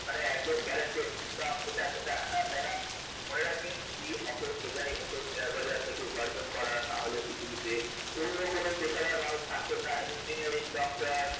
মানে একদম guranteed income এটা সেটা হেনা তেনা মনে রাখবেন যদি অত সোজাই হত শেয়ার বাজার থেকে উপার্জন করা তাহলে পৃথিবীতে অন্য কোন পেশাদার মানুষ থাকতেন না engineering doctor